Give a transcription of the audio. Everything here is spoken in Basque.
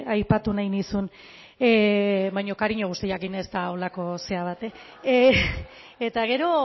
aipatu nahi nizun baina kariño guztiarekin ez da holako zera batekin eta gero